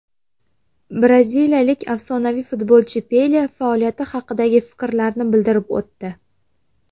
Braziliyalik afsonaviy futbolchi Pele faoliyati haqidagi fikrlarini bildirib o‘tdi.